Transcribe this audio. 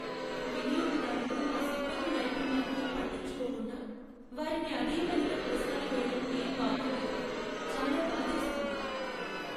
వినియోగదారులు మా సిబ్బంది నైపుణ్యానికి పట్టించుకోకుండా, వారిని అదేపనిగా ప్రశ్నలు వేయడం ఏం బాగోలేదు. చాలా బాధేస్తుంది.